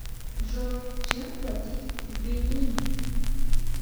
джой чем платить в бенине